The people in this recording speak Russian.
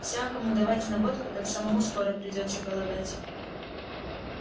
всякому давать на водку так самому скоро придётся голодать